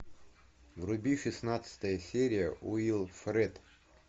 вруби шестнадцатая серия уилфред